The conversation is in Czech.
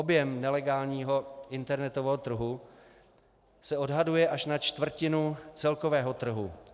Objem nelegálního internetového trhu se odhaduje až na čtvrtinu celkového trhu.